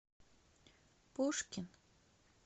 пушкин